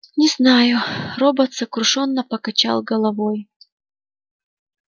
не знаю робот сокрушённо покачал головой